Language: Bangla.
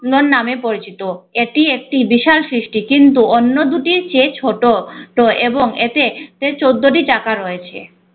নামে পরিচিত এটি একটি বিশাল সৃষ্টি কিন্তু অন্য দুটি চেয়ে ছোট তো এবং এতে তে চোদ্দোটি চাকা রয়েছে।